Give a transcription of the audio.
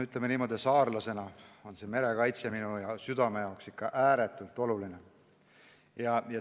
Ütleme niimoodi, et saarlasena on merekaitse minu südamele ikka ääretult oluline.